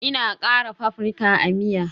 Ina kara paprika a miya